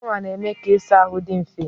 Shawa na-eme ka ịsa ahụ dị mfe.